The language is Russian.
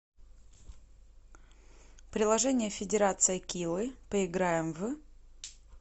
приложение федерация килы поиграем в